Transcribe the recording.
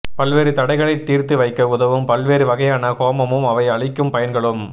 பல்வேறு தடைகளை தீர்த்து வைக்க உதவும் பல்வேறு வகையான ஹோமமும் அவை அளிக்கும் பயன்களும்